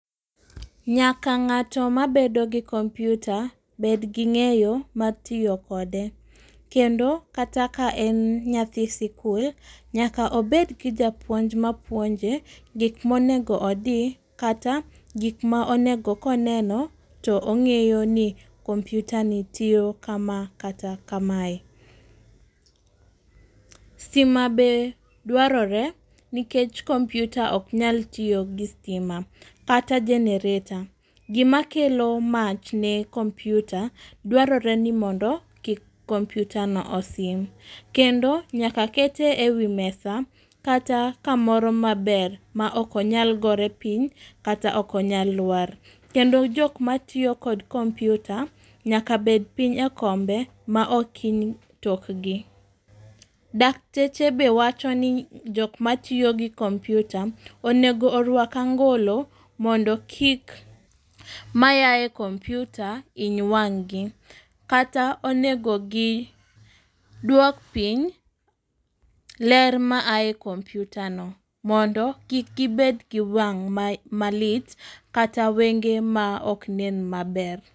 Nyaka ng'ato mabedo gi computer, bed ging'eyo mar tiyo kode. Kendo kata ka en nyathi sikul, nyaka obed gi japuonj ma puonje, gik monego odii kata gik ma onego ko neno to ong'eyo ni computer ni tiyo kama kata kamaye. Stima be dwarore nikech computer ok nyal tiyo gi stima kata generator. Gi ma kelo mach ne computer dwarore ni mondo kik computer no osim. Kendo nyaka kete e wimesa kata kamoro maber ma ok onyal gore piny kata ok onyal lwar. Kendo jok matiyo kod computer nyaka bed piny e kombe ma ok iny tokgi. Dakteche be wacho ni jok matiyo gi computer, onego orwak angolo mondo kik mayae kompyuta hiny wang'gi, kata onego gi duok piny ler ma ae computer no mondo kik gibed gi wang' ma malit kata wenge ma oknen maber.